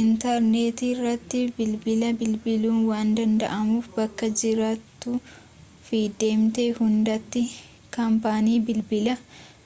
intarneetirratti bilbila bilbiluun waan danda'amuuf bakka jiraattuu fi deemte hundatti kaampaanii bilbilaa